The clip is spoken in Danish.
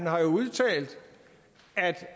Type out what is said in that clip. har udtalt